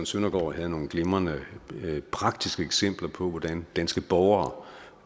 søndergaard havde nogle glimrende praktiske eksempler på hvordan danske borgere